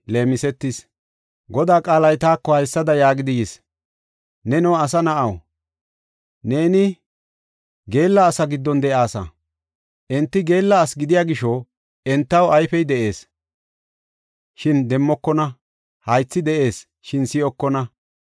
“Neno asa na7aw, neeni geella asaa giddon de7aasa. Enti geella asi gidiya gisho entaw ayfey de7ees, shin demmokona; haythi de7ees, shin si7okona.